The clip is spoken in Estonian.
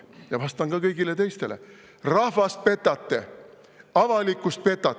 Ja vastan ka kõigile teistele: rahvast petate, avalikkust petate.